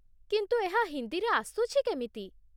କିନ୍ତୁ ଏହା ହିନ୍ଦୀରେ ଆସୁଛି କେମିତି?